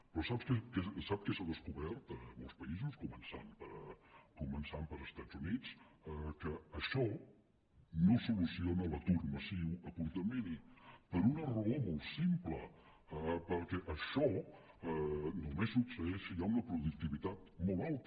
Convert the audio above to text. però sap què s’ha descobert a molts països començant pels estats units que això no soluciona l’atur massiu a curt termini per una raó molt simple perquè això només succeeix si hi ha una productivitat molt alta